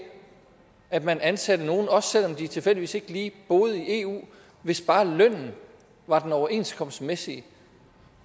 at man ansatte nogle også selv om de tilfældigvis ikke lige boede i eu hvis bare lønnen var den overenskomstmæssige